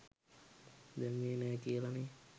දැම්මේ නෑ කියලනේ?